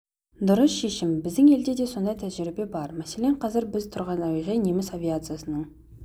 дұрыс шешім біздің елде де сондай тәжірибе бар мәселен қазір біз тұрған әуежай неміс авиациясының